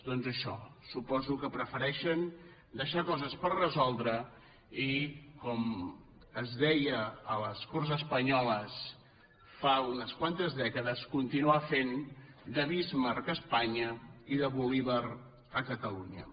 doncs això suposo que prefereixen deixar coses per resoldre i com es deia a les corts espanyoles fa unes quantes dècades continuar fent de bismarck a espanya i de bolívar a catalunya